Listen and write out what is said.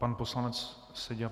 Pan poslanec Seďa.